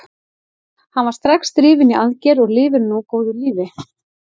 Hann var strax drifinn í aðgerð og lifir nú góðu lífi.